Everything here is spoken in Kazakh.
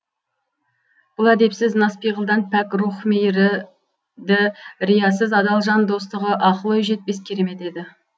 бұл әдепсіз нас пиғылдан пәк рух мейірі ді риясыз адал жан достығы ақыл ой жетпес керемет еді